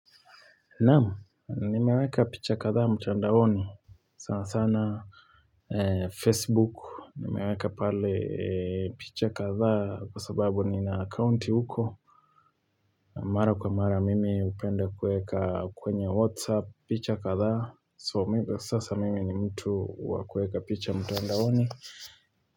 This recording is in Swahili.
Naam, nimeweka picha kadhaa mtandaoni sana sana Facebook, nimeweka pale picha kadhaa kwa sababu nina akaunti huko Mara kwa mara mimi hupenda kuweka kwenye WhatsApp picha kadhaa so sasa mimi ni mtu wa kuweka picha mtandaoni.